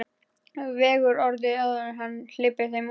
Vegur orðin áður en hann hleypir þeim út.